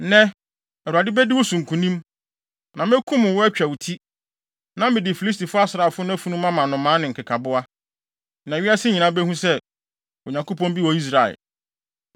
Nnɛ, Awurade bedi wo so nkonim, na mekum wo, atwa wo ti. Na mede Filistifo asraafo no afunu mama nnomaa ne nkekaboa, na wiase nyinaa behu sɛ, Onyankopɔn bi wɔ Israel!